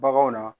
Baganw na